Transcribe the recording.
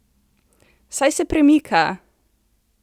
Saj se premika!